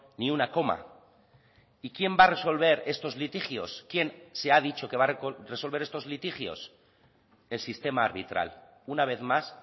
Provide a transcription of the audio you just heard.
ni una coma y quién va a resolver estos litigios quién se ha dicho que va a resolver estos litigios el sistema arbitral una vez más